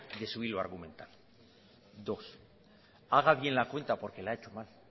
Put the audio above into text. de su hilo argumental dos haga bien la cuenta porque la ha hecho mal